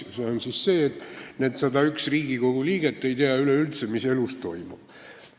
See on see arusaam, et need 101 Riigikogu liiget ei tea üleüldse, mis elus toimub.